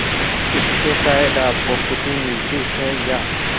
इससे शायद आपको खुशी मिलती है या